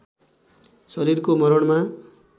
शरीरको मरणमा